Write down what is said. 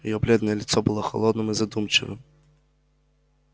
её бледное лицо было холодным и задумчивым